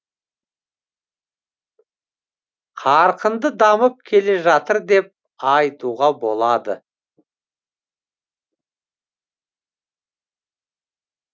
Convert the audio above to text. қарқынды дамып келе жатыр деп айтуға болады